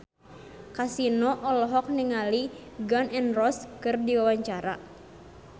Kasino olohok ningali Gun N Roses keur diwawancara